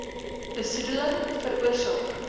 besoede ling veroorsaak